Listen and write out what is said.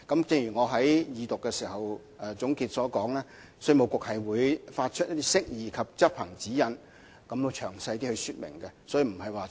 正如我在二讀辯論總結時所說，稅務局會發出釋義及執行指引，提供比較詳細的說明。